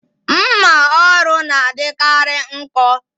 Mmà ọrụ n'adikari nkọ